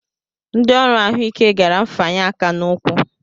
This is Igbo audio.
Ndị ọrụ ahụike gara mfanye aka n'ụkwụ